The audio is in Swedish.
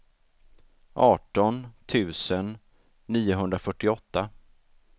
arton tusen niohundrafyrtioåtta